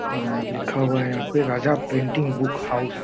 और लिखा हुआ है यहां पे राजा प्रिंटिंग बुक हाउस ।